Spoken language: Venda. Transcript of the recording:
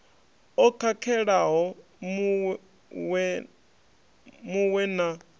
o khakhelaho mu we na